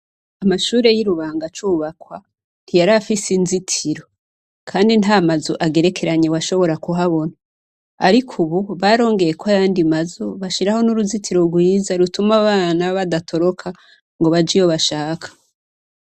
Amashure y'i Rubanga acubakwa, ntiyari afise inzitiro. Kandi nta mazu agerekeranye washobora kuhabona. Ariko ubu barongeyeho ayandi mazu, bashiraho n'uruzitiro rwiza rutuma abana badatoroka ngo baje iyo bashaka.